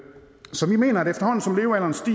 så vi mener at